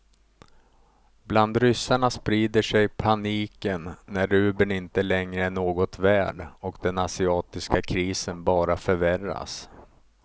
Bland ryssarna sprider sig paniken när rubeln inte längre är något värd och den asiatiska krisen bara förvärras.